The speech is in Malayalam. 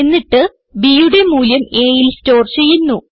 എന്നിട്ട് bയുടെ മൂല്യം aൽ സ്റ്റോർ ചെയ്യുന്നു